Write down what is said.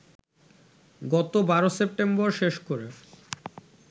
গত ১২ সেপ্টেম্বর শেষ করে